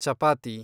chapati